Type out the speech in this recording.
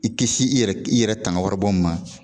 I kisi i yɛrɛ i yɛrɛ tanga waribɔ min ma,